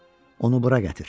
Onu bura gətir.